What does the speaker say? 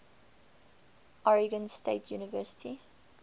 oregon state university